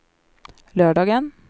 lördagen